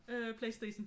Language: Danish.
Øh PlayStation